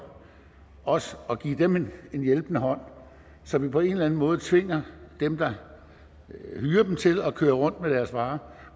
også at give dem en hjælpende hånd så vi på en eller anden måde tvinger dem der hyrer dem til at køre rundt med deres varer